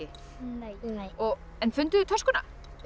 nei en funduð þið töskuna